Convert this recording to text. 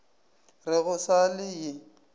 re go sa le ye